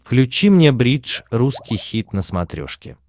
включи мне бридж русский хит на смотрешке